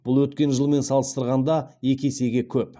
бұл өткен жылмен салыстырғанда екі есеге көп